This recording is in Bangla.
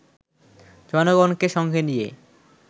জনগণকে সঙ্গে নিয়ে